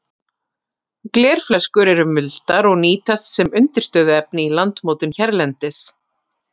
Glerflöskur eru muldar og nýtast sem undirstöðuefni í landmótun hérlendis.